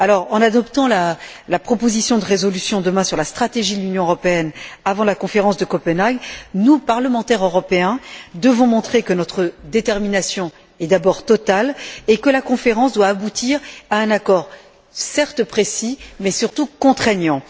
En adoptant la proposition de résolution, demain, sur la stratégie de l'Union européenne avant la conférence de Copenhague, nous, parlementaires européens, devons montrer que notre détermination est d'abord totale et que la conférence doit aboutir à un accord, certes précis, mais surtout contraignant.